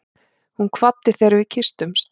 Hún kvaddi þegar við kysstumst.